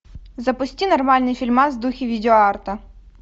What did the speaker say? запусти нормальный фильмас в духе видеоарта